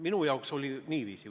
Minu jaoks oli niiviisi.